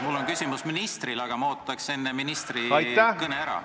Mul on küsimus ministrile, aga ma ootaks enne ministri kõne ära.